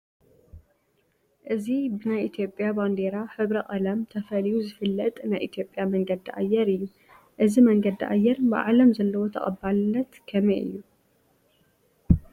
እዚ ብናይ ኢትዮጵያ ባንዲራ ሕብረ ቀለም ተፈልዩ ዝፍለጥ ናይ ኢትዮጵያ መንገዲ ኣየር እዩ፡፡ እዚ መንገዲ ኣየር ብዓለም ዘለዎ ተቐባልነት ከመይ እዩ?